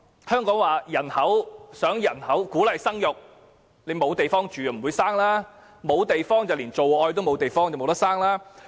香港想鼓勵生育，但沒有地方居住，便沒有地方做愛，也就無法生育。